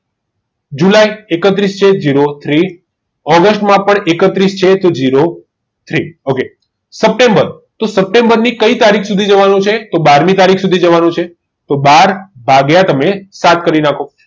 જુલાઈ એકત્રીસ છે તો zero three ઓગસ્ટમાં પણ એકત્રીસ છે તો zero three સપ્ટેમ્બર સપ્ટેમ્બર ની કઈ તારીખ સુધી જવાનું છે તો બાર મી તારીખ સુધી જવાનું છે તો બાર ભાગ્યા તમે સાત કરી નાખો.